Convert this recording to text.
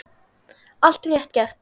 Allt rétt gert.